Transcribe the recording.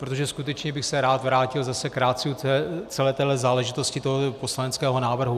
Protože skutečně bych se rád vrátil zase k ratiu celé téhle záležitosti, tohoto poslaneckého návrhu.